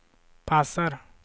passar